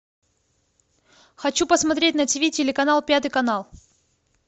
хочу посмотреть на тв телеканал пятый канал